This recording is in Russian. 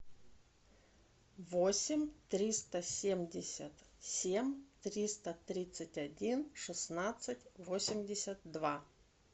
восемь триста семьдесят семь триста тридцать один шестнадцать восемьдесят два